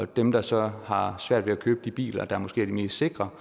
dem der så har svært ved at købe de biler der måske er de mest sikre